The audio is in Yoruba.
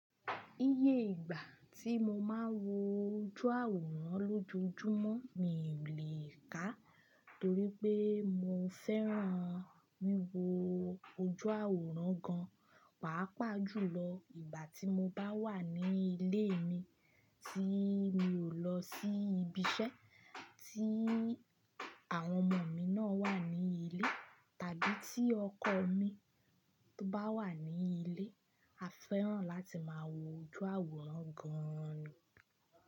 Iye ìgbà tí mo máa ń wo ojú àwòrán lójojúmọ́ mi ò lè ká torí pé mo fẹ́ràn wíwo ojú àwòrán gan. Pàápàá jùlọ ìgbà tí mo bá wà ní ilé mi tí mi ò lọ sí ibi iṣẹ́, tí àwọn ọmọ mi náà wà ní ilé tàbí tí ọkọ mi tó bá wà ní ilé, a fẹ́ràn láti máa wo ojú àwòrán gan ni.